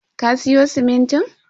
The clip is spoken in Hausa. Ka siyo simintin?